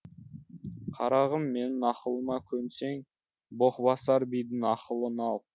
қарағым менің ақылыма көнсең боқбасар бидің ақылын ал